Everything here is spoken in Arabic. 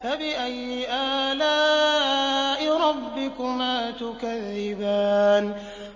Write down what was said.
فَبِأَيِّ آلَاءِ رَبِّكُمَا تُكَذِّبَانِ